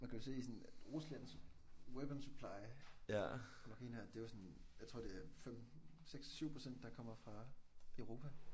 Man kan jo se sådan at Ruslands weapon supply nok en af det er jo sådan jeg tror det er 5 6 7% der kommer fra Europa